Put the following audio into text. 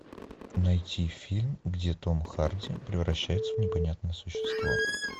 найти фильм где том харди превращается в непонятное существо